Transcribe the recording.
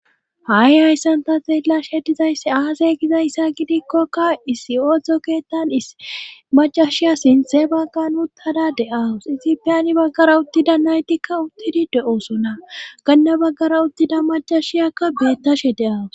Ha7i hayssanta xeella shetizaysse aasey gizayssa gidikkokka issi oodzdzo keettan macashiya sinthe bagga n uttada de7awus ixipiyani baggara uttida naytikka uttidi de7oosona ganna baggara uttida macashiyakka beettashe deawus